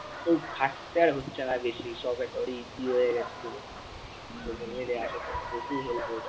ওই খাটতে হচ্ছে না আর বেশি সব একবার easy হয়ে গেছে। social media আসার পর প্রচুর help হয়েছে।